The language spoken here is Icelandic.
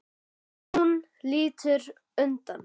Hún lítur undan.